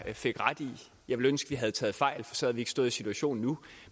fik ret i jeg ville ønske at vi havde taget fejl for så havde vi ikke stået i situationen nu